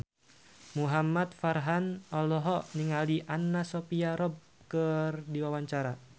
Muhamad Farhan olohok ningali Anna Sophia Robb keur diwawancara